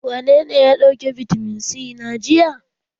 Wanene ya ɗauki bitamin c na jiya?